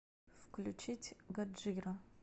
включить годжира